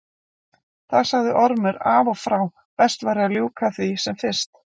Það sagði Ormur af og frá, best væri að ljúka því af sem fyrst.